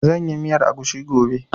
Zan yi miyar agushi gobe